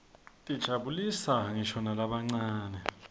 tijabulisa nqisho nalabancane